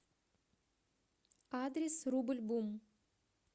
адрес рубль бум